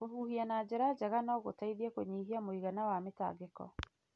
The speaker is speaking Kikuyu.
Kũhuhia na njĩra njega no gũteithie kũnyihia mũigana wa mĩtangĩko.